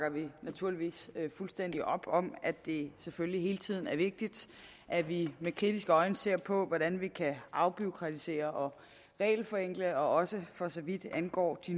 at vi naturligvis bakker fuldstændig op om at det selvfølgelig hele tiden er vigtigt at vi med kritiske øjne ser på hvordan vi kan afbureaukratisere og regelforenkle også for så vidt angår de